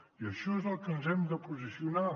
i això és al que ens hem de posicionar